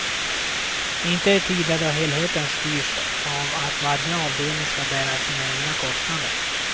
Inte i tider då helheten styrs av att varje avdelning ska bära sina egna kostnader.